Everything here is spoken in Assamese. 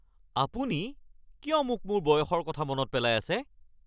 আপুনি কিয় মোক মোৰ বয়সৰ কথা মনত পেলাই আছে?